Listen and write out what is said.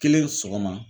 Kelen sɔgɔma